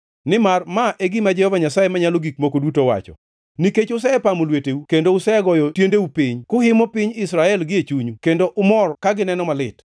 Nimar ma e gima Jehova Nyasaye Manyalo Gik Moko Duto wacho: Nikech usepamo lweteu kendo usegoyo tiendeu piny, kuhimo piny Israel gie chunyu kendo umor ka gineno malit,